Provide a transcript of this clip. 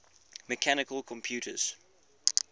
mechanical computers